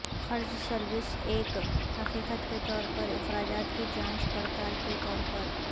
قرض سروس ایک حقیقت کے طور پر اخراجات کی جانچ پڑتال کے طور پر